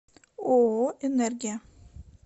ооо энергия